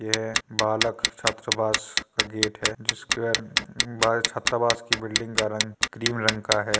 यह बालक छात्र वास का गेट है जिस पर बालक छात्रावास की बिल्डिंग का रंग क्रीम रंग का है।